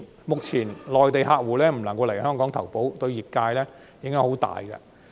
目前，內地客戶未能來港投保，對業界有很大影響。